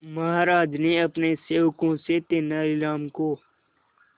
महाराज ने अपने सेवकों से तेनालीराम को